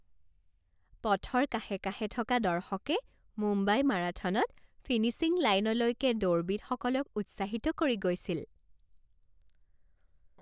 পথৰ কাষে কাষে থকা দৰ্শকে মুম্বাই মাৰাথনত ফিনিচিং লাইনলৈকে দৌৰবিদসকলক উৎসাহিত কৰি গৈছিল।